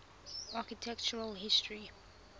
architectural history